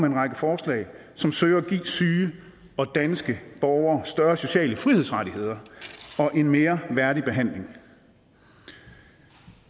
en række forslag som søger at give syge danske borgere større sociale frihedsrettigheder og en mere værdig behandling